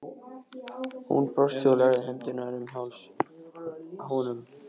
Hún brosti og lagði hendurnar um háls honum.